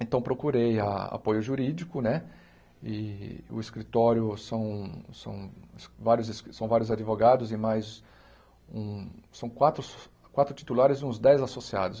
Então procurei a apoio jurídico né e o escritório são são vários são vários advogados e mais um são quatro quatro titulares e uns dez associados.